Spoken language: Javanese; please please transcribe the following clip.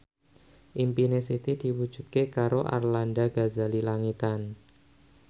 impine Siti diwujudke karo Arlanda Ghazali Langitan